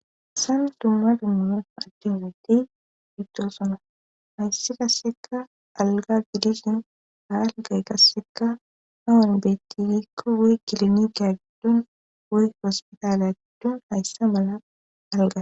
sam dumma dummuman addinatti bidto sona hayssa qasseka alga gidisin haalgay qasseka hawun bettiikko wey kilini gaaddun woy ospitaale addun hayssa mala alga